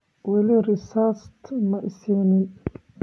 Walii risit maa ii sinin.